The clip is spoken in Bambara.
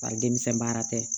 Bari denmisɛn baara tɛ